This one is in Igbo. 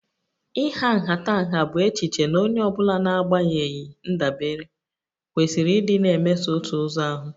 Ịha nhatanha bụ echiche na onye ọ bụla n'agbanyeghị ndabere kwesịrị ịdị na-emeso otu ụzọ ahụ